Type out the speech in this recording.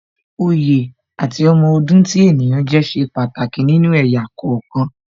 Oyè àti ọmọ ọdún tí ènìyàn jẹ́ ṣe pàtàkì nínú ẹ̀yà kọ̀ọ̀kan